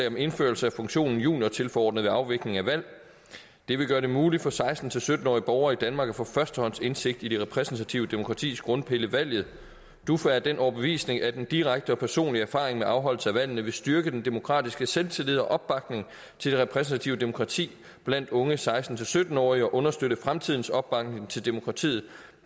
om indførelse af funktionen juniortilforordnet ved afvikling af valg det vil gøre det muligt for seksten til sytten årige borgere i danmark at få førstehåndsindsigt i det repræsentative demokratis grundpille valget duf er af den overbevisning at en direkte og personlig erfaring med afholdelse af valgene vil styrke den demokratiske selvtillid og opbakningen til det repræsentative demokrati blandt unge seksten til sytten årige og understøtte fremtidens opbakning til demokratiet